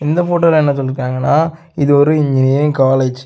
இந்த போட்டோல என்ன சொல்லிருக்காங்கன இது ஒரு இன்ஜினியரிங் காலேஜ் .